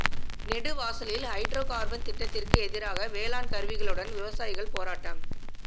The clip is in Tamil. நெடுவாசலில் ஹைட்ரொ கார்பன் திட்டத்திற்கு எதிராக வேளாண் கருவிகளுடன் விவசாயிகள் போராட்டம்